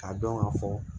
K'a dɔn ka fɔ